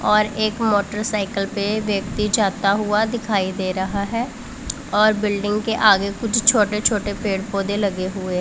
और एक मोटरसाइकल पे व्यक्ति जाता हुआ दिखाई दे रहा है और बिल्डिंग के आगे कुछ छोटे छोटे पेड़ पौधे लगे हुए--